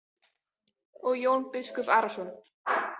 Og Jón biskup Arason.